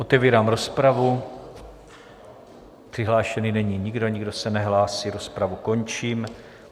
Otevírám rozpravu, přihlášený není nikdo, nikdo se nehlásí, rozpravu končím.